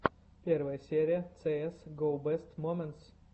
первая серия цээс го бест моментс